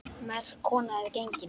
Merk kona er gengin.